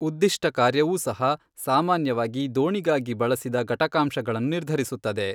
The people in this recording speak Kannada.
ಉದ್ದಿಷ್ಠಕಾರ್ಯವೂ ಸಹ ಸಾಮಾನ್ಯವಾಗಿ ದೋಣಿಗಾಗಿ ಬಳಸಿದ ಘಟಕಾಂಶಗಳನ್ನು ನಿರ್ಧರಿಸುತ್ತದೆ.